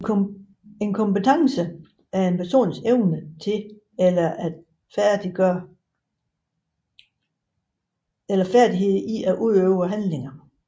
En kompetence er en persons evne til eller færdighed i at udføre handlinger